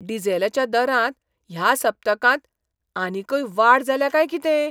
डिझेलच्या दरांत ह्या सप्तकांत आनीकय वाड जाल्या काय कितें?